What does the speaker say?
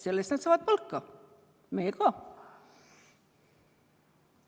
Selle eest nad saavad palka, meie ka.